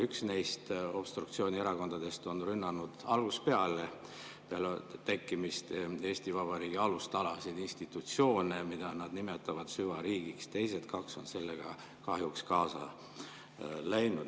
Üks neist obstruktsioonierakondadest on rünnanud algusest peale, alates tekkimisest, Eesti Vabariigi alustalasid, institutsioone, mida nad nimetavad süvariigiks, teised kaks on sellega kahjuks kaasa läinud.